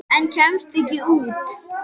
Hann óskar sér.